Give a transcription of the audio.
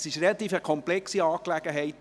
Es ist eine relativ komplexe Angelegenheit.